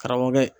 Karamɔgɔkɛ